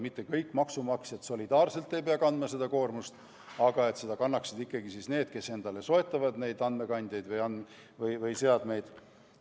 Mitte kõik maksumaksjad ei pea solidaarselt kandma seda koormust, vaid maksaksid ikkagi need, kes soetavad endale andmekandjaid või seadmeid.